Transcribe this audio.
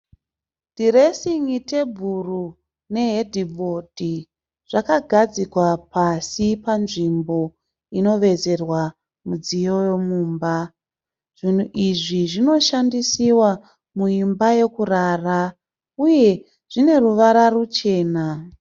Dhiresingi tebhuro nehedhibhodhi zvakagadzikwa pasi panzvimbo inovezerwa midziyo yemumba. Zvinhu izvi zvinoshandisiwa muimba yokurara uye zvine ruvara ruchena.